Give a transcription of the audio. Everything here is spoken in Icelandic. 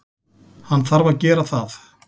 Hann þarf að gera það.